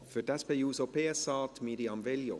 Für die SP-JUSO-PSA Mirjam Veglio.